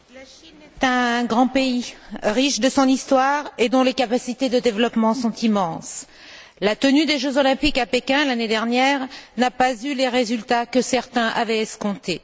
Monsieur le Président, la Chine est un grand pays, riche de son histoire, et dont les capacités de développement sont immenses. La tenue des jeux olympiques à Pékin, l'année dernière, n'a pas eu les résultats que certains avaient escomptés.